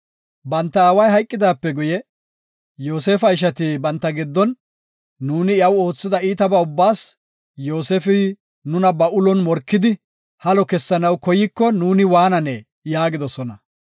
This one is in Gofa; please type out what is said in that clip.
Banta aaway hayqidaape guye, Yoosefa ishati banta giddon, “Nuuni iyaw oothida iitaba ubbaas Yoosefi nuna ba ulon morkidi halo keyanaw koyiko nuuni waananee?” yaagidosona.